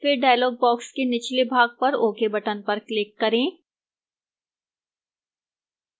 फिर dialog box के निचले भाग पर ok button पर click करें